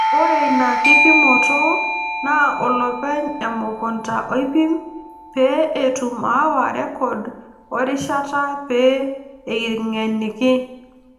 Ore ina kipimoto naa olopeny emukunta oipim pee etum aawa rrekod oo rishat pee eng'eniki.